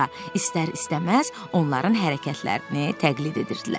İstər-istəməz onların hərəkətlərini təqlid edirdilər.